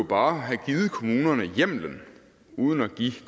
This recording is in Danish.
bare have givet kommunerne hjemmelen uden at give